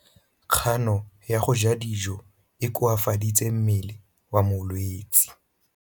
Kganô ya go ja dijo e koafaditse mmele wa molwetse.